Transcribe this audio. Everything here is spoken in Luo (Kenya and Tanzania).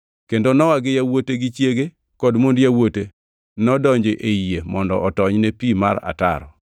Kendo Nowa gi yawuote gi chiege kod mond yawuote nodonjo ei yie mondo otony ne pi mar ataro.